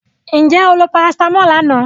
Did you take paracetamol yesterday?